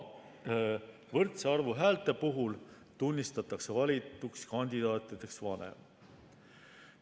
Võrdse arvu häälte puhul tunnistatakse valituks neist vanem.